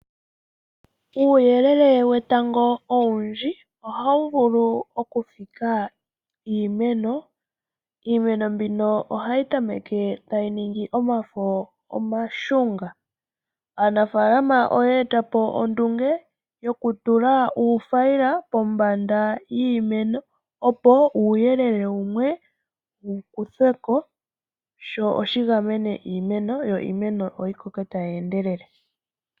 Uuyelele wetango owundji ohawu vulu oku fika iimeno. Iimeno mbika ohayi tameke tayi ningi omafo omaashunga. Aanafaalama oya eta po ondunge yoku tula uuthayila kombanda yiimeno opo uuyelele wumwe wukuthwe ko, sho shi gamene iimeno yimwe yi koke tayi endelele.